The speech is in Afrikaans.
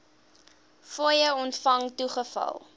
fooie ontvang toegeval